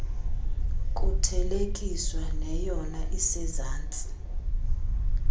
kuthelekiswa neyona isezantsi